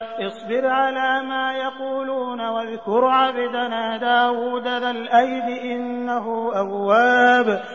اصْبِرْ عَلَىٰ مَا يَقُولُونَ وَاذْكُرْ عَبْدَنَا دَاوُودَ ذَا الْأَيْدِ ۖ إِنَّهُ أَوَّابٌ